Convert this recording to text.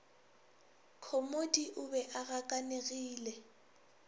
khomodi o be a gakanegile